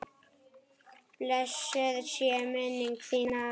Blessuð sé minning þín, afi.